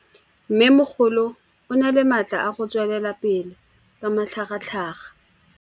Mmêmogolo o na le matla a go tswelela pele ka matlhagatlhaga.